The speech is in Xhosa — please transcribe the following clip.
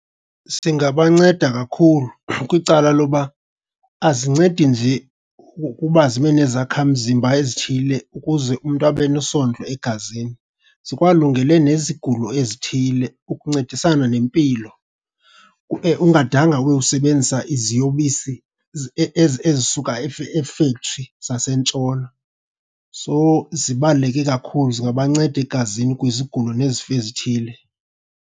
Singabanceda kakhulu kwicala lokuba azincedi nje ukuba zibe nezakhamzimba ezithile ukuze umntu abe nesondlo egazini, zikwalungele nezigulo ezithile ukuncedisana nempilo ube ungadanga uyosebenzisa iziyobisi ezisuka e-factory zaseNtshona. So zibaluleke kakhulu, zingabanceda egazini kwizigulo nezifo ezithile.